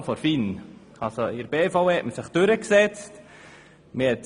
In der BVE hat man sich jedoch durchgesetzt.